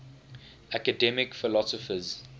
academic philosophers